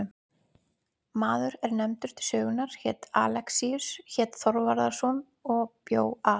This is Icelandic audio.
Maður er nefndur til sögunnar er Alexíus hét Þorvarðarson og bjó að